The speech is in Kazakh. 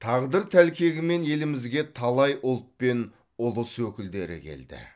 тағдыр тәлкегімен елімізге талай ұлт пен ұлыс өкілдері келді